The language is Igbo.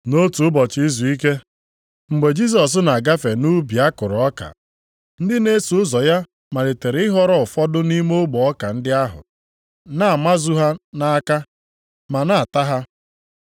Nʼotu ụbọchị izuike, mgbe Jisọs na-agafe nʼubi a kụrụ ọka. Ndị na-eso ụzọ ya malitere ịghọrọ ụfọdụ nʼime ogbe ọka ndị ahụ, na-amazu ha nʼaka, ma na-ata ha.